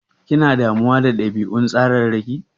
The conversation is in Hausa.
Kina damuwa da ɗabi'un tsararraki?